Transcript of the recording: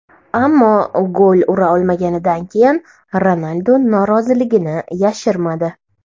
Ammo gol ura olmaganidan keyin Ronaldu noroziligini yashirmadi.